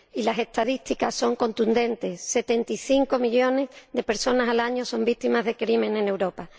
las estadísticas son contundentes 75 millones de personas al año son víctimas de delitos en Europa.